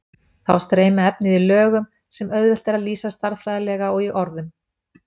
Þá streymir efnið í lögum sem auðvelt er að lýsa stærðfræðilega og í orðum.